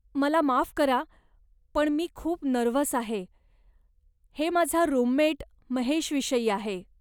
मला माफ करा, पण मी खूप नर्व्हस आहे, हे माझा रूममेट महेशविषयी आहे.